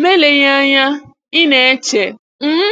Ma eleghị anya ị n'eche, um